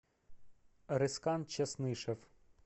рескан часнышев